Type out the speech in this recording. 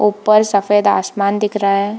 ऊपर सफेद आसमान दिख रहा है।